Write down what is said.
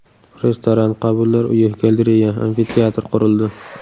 Restoran, qabullar uyi, galereya, amfiteatr qurildi.